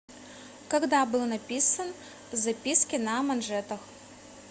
когда был написан записки на манжетах